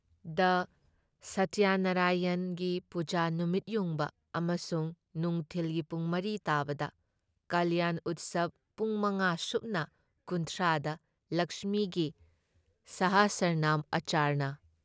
ꯗ ꯁꯇ꯭ꯌꯅꯔꯥꯏꯌꯟꯒꯤ ꯄꯨꯖꯥ, ꯅꯨꯃꯤꯠꯌꯨꯡꯕ ꯑꯃꯁꯨꯡ ꯅꯨꯡꯊꯤꯜꯒꯤ ꯄꯨꯡ ꯃꯔꯤ ꯇꯥꯕꯗ ꯀꯂ꯭ꯌꯥꯟ ꯎꯠꯁꯕ ꯄꯨꯡ ꯃꯉꯥ ꯁꯨꯞꯅ ꯀꯨꯟꯊ꯭ꯔꯥ ꯗ ꯂꯛꯁꯃꯤꯒꯤ ꯁꯍꯁꯔꯅꯥꯝ ꯑꯆꯔꯅ